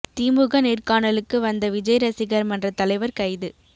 திமுக நேர்காணலுக்கு வந்த விஜய் ரசிகர் மன்ற தலைவர் கைது